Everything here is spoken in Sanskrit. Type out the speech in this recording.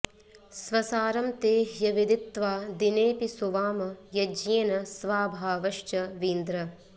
स्वसारं ते ह्यविदित्वा दिनेपि सुवाम यज्ञेन स्वाभावश्च वीन्द्र